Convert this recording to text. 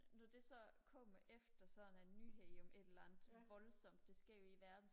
når det så kommer efter sådan en nyhed om et eller andet voldssomt der sker ude i verden